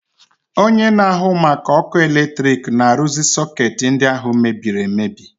Onye na-ahụ maka ọkụ eletrik na-arụzi sọketi ndi ahụ mebiri emebi.